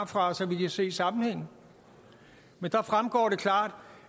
fra så vi kan se sammenhængen men det fremgår klart